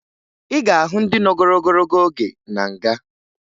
Ị ga-ahụ ndị nọgoro ogologo oge na nga